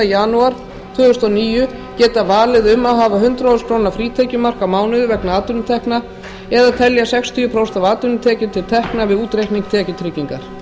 janúar tvö þúsund og níu geta valið um að hafa hundrað þúsund króna frítekjumark á mánuði vegna atvinnutekna eða telja sextíu prósent af atvinnutekjum til tekna við útreikning tekjutryggingar